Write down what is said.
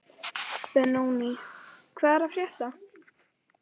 Benóní, hvað er að frétta?